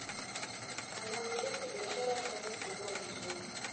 anamiliki biashara tano kubwa mjini